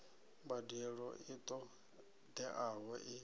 mbadelo i ṱo ḓeaho i